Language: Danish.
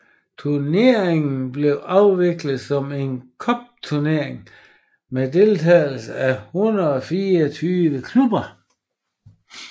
Turneringen blev afviklet som en cupturnering med deltagelse af 124 klubber